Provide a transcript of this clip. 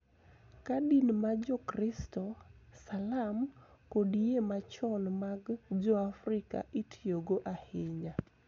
Ka din ma Jokristo, Salam, kod yie machon mag Joafrika itiyogo ahinya.